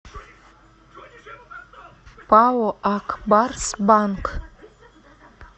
пао ак барс банк